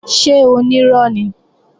Ṣé onírọ́ ni?